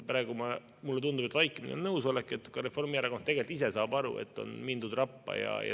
Praegu mulle tundub, et vaikimine on nõusolek, ehkki ka Reformierakond tegelikult ise saab aru, et on mindud rappa.